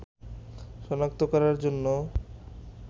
শনাক্ত করার জন্য